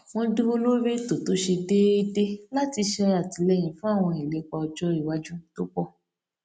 wón dúró lórí ètò tó ṣe déédé láti ṣe àtìlẹyìn fún àwọn ìlépa ọjọ iwájú tó pọ